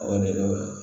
O de la